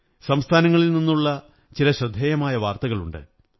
സംസ്ഥാനങ്ങളിൽ നിന്നുള്ള ചില ശ്രദ്ധേയങ്ങളായ വാര്ത്ത കളുണ്ട്